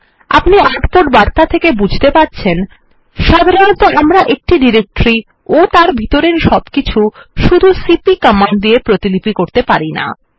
আপনি আউটপুট বার্তা থেকে বুঝতে পারছেন সাধারণত আমরা একটি ডিরেক্টরি ও তার ভিতরের সবকিছু শুধু সিপি কমান্ড দিয়ে প্রতিলিপি করতে পারি না